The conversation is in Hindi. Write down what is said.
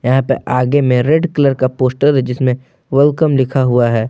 यहां पे आगे में रेड कलर का पोस्टर है। जिसमें वेलकम लिखा हुआ है।